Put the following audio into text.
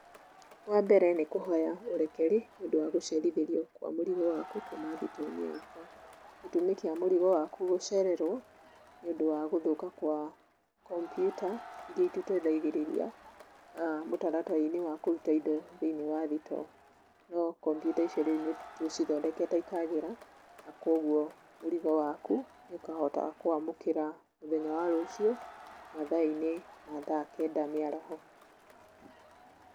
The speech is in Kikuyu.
Wa mbere, nĩkũhoya ũrekeri, nĩũndũ wa gũcerithĩrio kwa mũrigo waku, kuma thitoo-inĩ yakwa. Gĩtũmi kĩa mũrigo waku gũcererwo, nĩũndũ wagũthũka gwa kompiuta, iria itũtaithagĩrĩria mũtaratara-inĩ wa kũruta indo thĩiniĩ wa thitoo, no kompiuta icio rĩu nĩtũcithondekete ikagĩra, na koguo mũrigo waku nĩũkahota kũwamũkĩra mũthenya wa rũciũ, mathaa-inĩ ma thaa kenda mĩaraho.